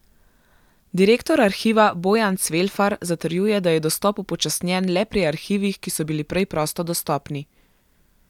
Direktor Arhiva Bojan Cvelfar zatrjuje, da je dostop upočasnjen le pri arhivih, ki so bili prej prosto dostopni.